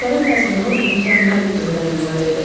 Əsərin məzmunu mükəmməl öyrənilməlidir.